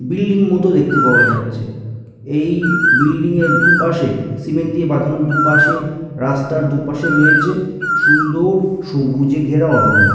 Building মত দেখতে পাওয়া যাচ্ছে এই বিল্ডিং এর দুপাশে সিমেন্ট দিয়ে বাঁধানো দুই পাশে রাস্তার দুপাশে রয়েছে সুন্দর সবুজে ঘেরা অরণ্য।